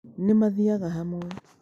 Nĩ maathiaga hamwe.